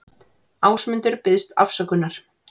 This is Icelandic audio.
Ásmundur biðst afsökunar